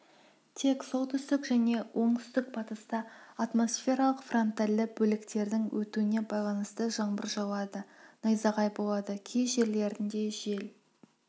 тек солтүстік және оңтүстік-батыста атмосфералық фронтальды бөліктердің өтуіне байланысты жаңбыр жауады найзағай болады кей жерлерінде жел